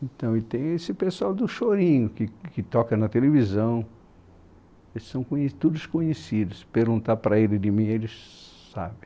Então, e tem esse pessoal do Chorinho, que que toca na televisão, eles são conhe todos conhecidos, perguntar para ele de mim, eles sabem.